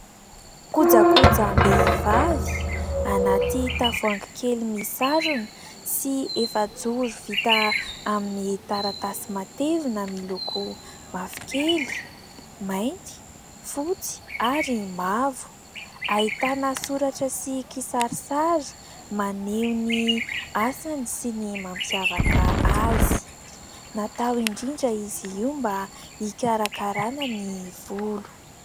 Kojakojam-behivavy anaty tavoahangy kely misarona sy efajoro vita amin'ny taratasy matevina miloko mavokely, mainty, fotsy ary mavo, ahitana soratra sy kisarisary maneho ny asany sy ny mampiavaka azy, natao indrindra izy io mba hikarakarana ny volo.